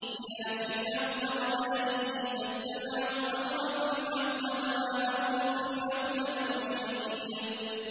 إِلَىٰ فِرْعَوْنَ وَمَلَئِهِ فَاتَّبَعُوا أَمْرَ فِرْعَوْنَ ۖ وَمَا أَمْرُ فِرْعَوْنَ بِرَشِيدٍ